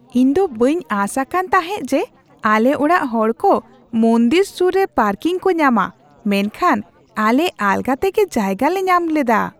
ᱤᱧ ᱫᱚ ᱵᱟᱹᱧ ᱟᱸᱥ ᱟᱠᱟᱱ ᱛᱟᱦᱮᱸᱜ ᱡᱮ ᱟᱞᱮ ᱚᱲᱟᱜ ᱦᱚᱲᱠᱚ ᱢᱚᱱᱫᱤᱨ ᱥᱩᱨ ᱨᱮ ᱯᱟᱨᱠᱤᱝ ᱠᱚ ᱧᱟᱢᱟ, ᱢᱮᱱᱠᱷᱟᱱ ᱟᱞᱮ ᱟᱞᱜᱟ ᱛᱮᱜᱮ ᱡᱟᱭᱜᱟ ᱞᱮ ᱧᱟᱢ ᱞᱮᱫᱟ ᱾